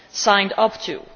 signed up to.